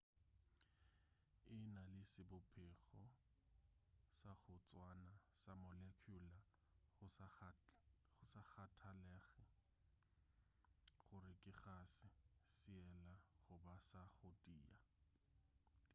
e na le sebopego sa go tswana sa molecular go sa kgathalege gore ke kgase seela goba sa go tia